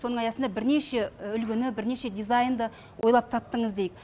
соның аясында бірнеше үлгіні бірнеше дизайнды ойлап таптыңыз дейік